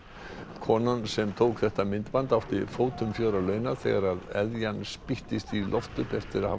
konan sem tók þetta myndband átti fótum fjör að launa þegar spýttist í loft upp eftir að hafa